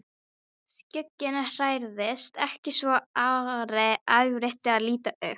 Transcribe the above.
Skugginn hrærðist ekki svo Ari áræddi að líta upp.